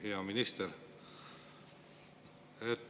Hea minister!